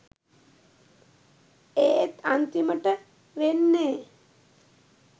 ඒත් අන්තිමට වෙන්නේ